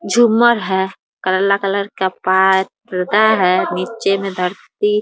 झूमर है काला कलर पा पर्दा है नीचे मे धरती --